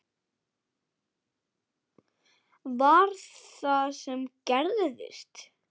Var það það sem gerðist?